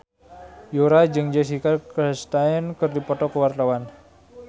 Yura jeung Jessica Chastain keur dipoto ku wartawan